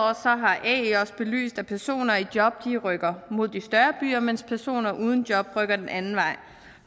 har ae også belyst at personer i job rykker mod de større byer mens personer uden job rykker den anden vej